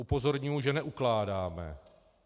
Upozorňuji, že neukládáme.